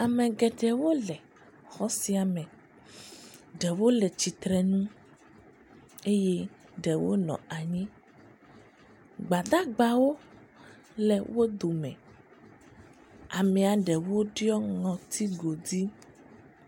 Ame geɖewo le xɔ sia me. Ɖewo le tsitrenu eye ɖewo nɔ anyi. Gbadagbawo le wo dome. Amea ɖewo ɖɔ ŋɔti godui.